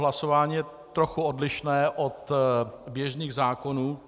Hlasování je trochu odlišné od běžných zákonů.